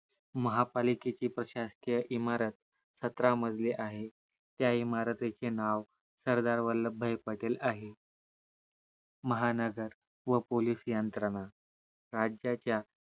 महापालिकेची प्रशासकीय इमारत सतरा माजली आहे त्या इमारतीचे नाव सरदार वल्लभाई पटेल आहे महानगर व पोलीस यंत्रणा राज्याच्या